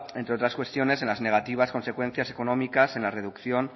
entre otras cuestiones en las negativas consecuencias económicas en la reducción